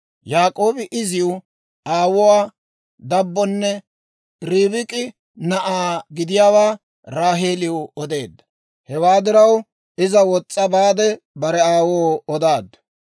Yaak'oobi iziw aawuwaa dabbonne Ribik'i na'aa gidiyaawaa Raaheeliw odeedda. Hewaa diraw iza wos's'a baade bare aawoo odaaddu.